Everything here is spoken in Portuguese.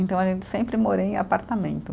Então, a gente sempre morou em apartamento.